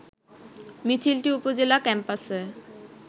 মিছিলটি উপজেলা ক্যাম্পাসে